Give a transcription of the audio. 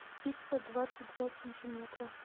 пицца двадцать два сантиметра